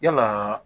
Yalaa